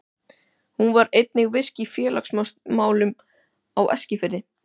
Hún var einnig virk í félagsmálum á Eskifirði.